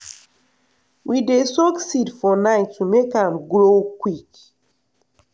we dey soak seed for night to make am grow quick.